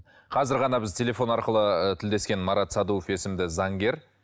қазір ғана біз телефон арқылы і тілдескен марат садуов есімді заңгер